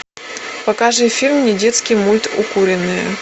покажи фильм недетский мульт укуренные